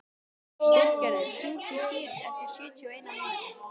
Styrgerður, hringdu í Sýrus eftir sjötíu og eina mínútur.